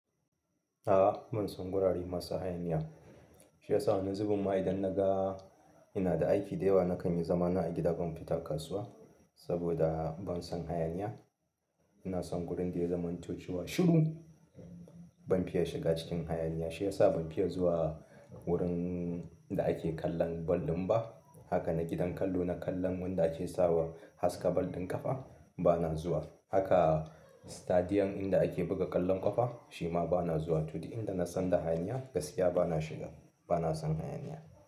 Ahh bansan gorare masu hayaniya. Shi ya sa ni zubimma idan naga inada aiki da yawa nakanyi zamana a gida ban fita kasuwa sabuda bansan hayaniya ina son wurin da ya zamanto chewa shiru. Ban fiya shiga cikin hayaniya. Shi ya sa ban fiya zuwa wurin da ake kallon ball ɗin ba. Haka na gidan kallo na kallon wanda ake sawa haska ball ɗin ƙafa bana zuwa. Haka sitadiyum inda ake buga ƙwallon ƙafa shi ma bana zuwa. Tuh dur inda na msan da hayaniya gaskiya bana shiga. Bana son hayaniya.